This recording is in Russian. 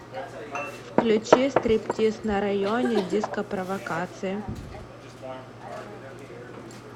включи стриптиз на районе дископровокации